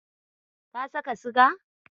Ka saka siga?